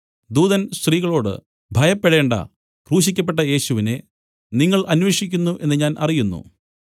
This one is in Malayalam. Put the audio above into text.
ദൂതൻ സ്ത്രീകളോട് ഭയപ്പെടേണ്ടാ ക്രൂശിക്കപ്പെട്ട യേശുവിനെ നിങ്ങൾ അന്വേഷിക്കുന്നു എന്നു ഞാൻ അറിയുന്നു